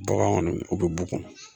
Bagan kɔni u bɛ bugun.